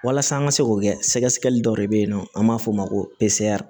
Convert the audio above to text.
Walasa an ka se k'o kɛ sɛgɛsɛgɛli dɔ de bɛ yen nɔ an b'a fɔ o ma ko